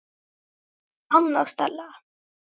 Anna Stella.